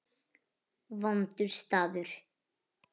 Vondur staður.